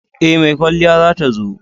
E, mai kwalliyar za ta zo.